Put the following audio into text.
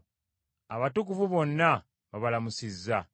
Abatukuvu bonna babalamusizza.